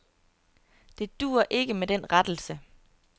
Det duer ikke med den rettelse.